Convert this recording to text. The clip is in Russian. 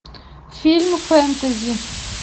фильм фэнтези